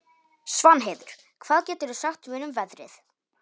Svanheiður, hvað geturðu sagt mér um veðrið?